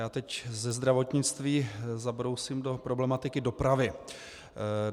Já teď ze zdravotnictví zabrousím do problematiky dopravy.